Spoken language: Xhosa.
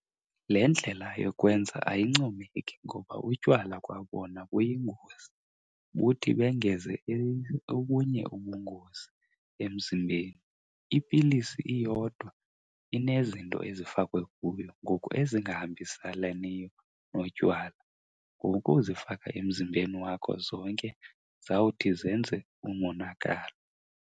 Le ndlela yokwenza ayincomeki ngoba utywala kwa bona buyingozi, buthi bongeze obunye ubungozi emzimbeni. Ipilisi iyodwa inezinto ezifakwe kuyo ngoku ezingahambiselaniyo notywala. Ngokuzifaka emzimbeni wakho zonke zawuthi zenze umonakalo.